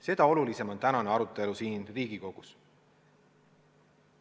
Seda olulisem on tänane arutelu siin Riigikogus.